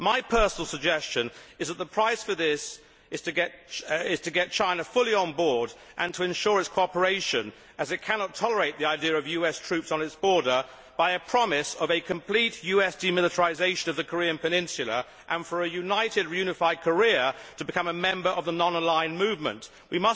My personal suggestion is that the price for this is to get China fully on board and to ensure its cooperation as it cannot tolerate the idea of US troops on its border by the promise of a complete US demilitarisation of the Korean peninsula and for a united, unified Korea to become a member of the non aligned movement We